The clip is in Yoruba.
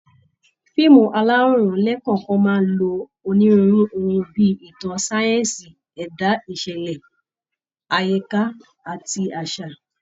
Fíìmù aláwòrán lẹ́kọ̀ọ̀kan máa lo onírúurú ohun bí i ìtàn, sáyẹ́ǹsì, ẹ̀dá, ìṣẹ̀lẹ̀ àyíká, àti àṣà